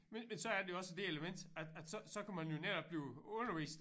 Men men så er det også det element at at så så kan man jo netop blive undervist